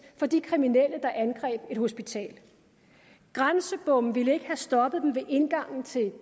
for de kriminelle der angreb et hospital grænsebomme ville ikke have stoppet dem ved indgangen til